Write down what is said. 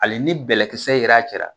Hali ni bɛlɛkisɛ yera a cɛ la.